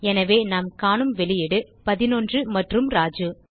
எனவே நாம் காணும் வெளியீடு 11 மற்றும் ராஜு